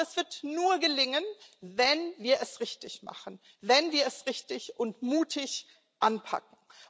Aber das wird nur gelingen, wenn wir es richtig machen, wenn wir es richtig und mutig anpacken.